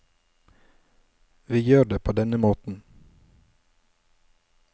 Vi gjør det på denne måten.